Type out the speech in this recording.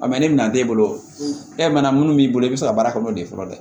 ne bɛna t'e bolo e mana mun b'i bolo i bɛ se ka baara kɛ n'o ye fɔlɔ dɛ